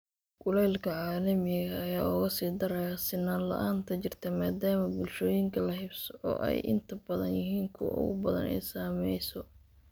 Kulaylka caalamiga ah ayaa uga sii daraya sinnaan la'aanta jirta, maadaama bulshooyinka la haybsooco ay inta badan yihiin kuwa ugu badan ee ay saamayso.